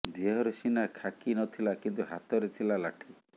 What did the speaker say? ଦେହରେ ସିନା ଖାକି ନଥିଲା କିନ୍ତୁ ହାତରେ ଥିଲା ଲାଠି